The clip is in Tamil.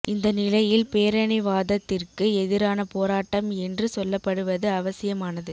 இந்த நிலையில் பேரினவாதத்திற்கு எதிரான போராட்டம் என்று சொல்லப்படுவது அவசியமானது